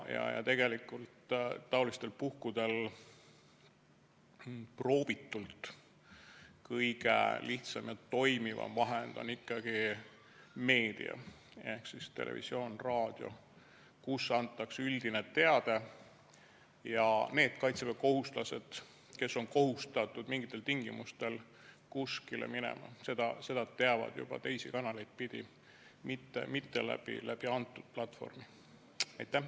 Ja tegelikult on taolistel puhkudel läbiproovitult kõige lihtsam ja toimivam vahend ikkagi meedia ehk siis televisioon-raadio, kus antakse üldine teadaanne ja need kaitseväekohustuslased, kes on kohustatud mingitel tingimustel kuskile minema, saavad seda teada juba teisi kanaleid pidi, mitte selle platvormi kaudu.